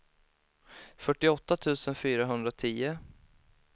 fyrtioåtta tusen fyrahundratio